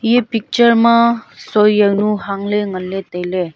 ye picture ma sui janu hangla tailey.